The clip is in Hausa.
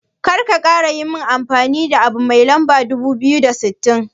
Karka kara yin amfani abu mai lamba dubu biyu da sittin.